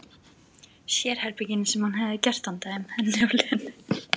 Sérherbergin sem hann hefði gert handa þeim, henni og Lenu.